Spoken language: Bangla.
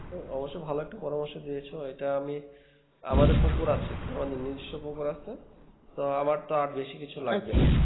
অবশ্যই ভালো একটা পরামর্শ দিয়েছো এটা আমি আমাদের পুকুর আছে আমাদের নিজেস্ব পুকুর আছে তো আমার তো আর বেশি কিছু লাগবে না